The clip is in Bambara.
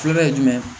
Kulonkɛ ye jumɛn ye